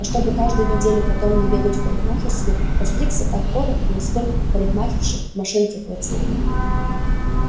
а чтобы каждую неделю потом не бегать в парикмахерскую постригся так коротко насколько у парикмахерши машинки хватило